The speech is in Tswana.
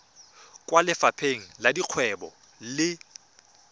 kwa lefapheng la dikgwebo le